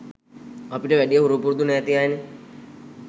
අපිට වැඩිය හුරු පුරුදු නැති අයනෙ.